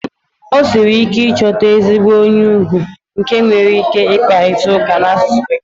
O siri ike ịchọta ezigbo onye ugwu nke nwere ike ịkparịta ụka n'asụsụ Bekee.